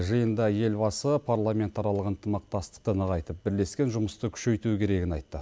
жиында елбасы парламентаралық ынтымақсатықты нығайтып бірлескен жұмысты күшейту керегін айтты